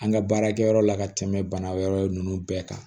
An ka baarakɛyɔrɔ la ka tɛmɛ bana wɛrɛ ninnu bɛɛ kan